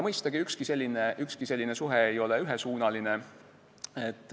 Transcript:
Mõistagi, ükski selline suhe ei ole ühesuunaline.